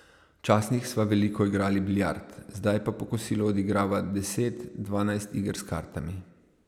Včasih sva veliko igrali biljard, zdaj pa po kosilu odigrava deset, dvanajst iger s kartami.